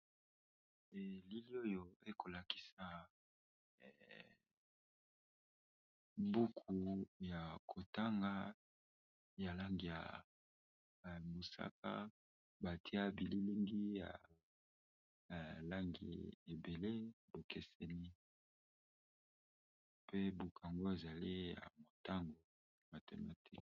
Elili oyo ekolakisa buku ya kotanga ya langi ya mosaka batia bi lilingi ya langi ebele ekeseni, mpe buku ango ezali ya motango mathematique.